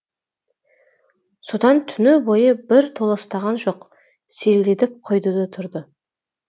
содан түні бойы бір толастаған жоқ селдетіп құйды да тұрды